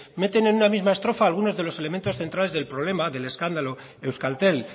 meten en una misma estrofa algunos de los elementos centrales del problema del escándalo euskaltel